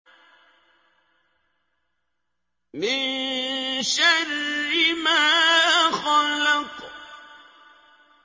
مِن شَرِّ مَا خَلَقَ